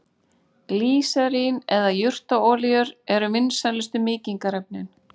Glýserín eða jurtaolíur eru vinsælustu mýkingarefnin.